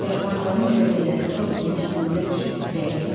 Yarpaqların kölgələri tor kimi üstümüzə düşüb titrəyirdi.